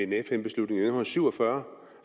en fn beslutning i nitten syv og fyrre